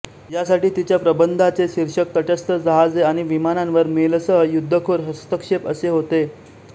या साठी तिच्या प्रबंधाचे शीर्षक तटस्थ जहाजे आणि विमानांवर मेलसह युद्धखोर हस्तक्षेप असे होते